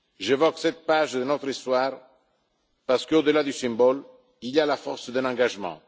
J'évoque cette page de notre histoire parce qu'au delà du symbole, il y a la force d'un engagement.